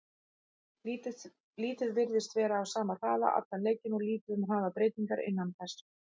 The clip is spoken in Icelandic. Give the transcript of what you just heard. Liðið virtist vera á sama hraða allan leikinn og lítið um hraðabreytingar innan þess.